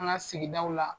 An ka sigidaw la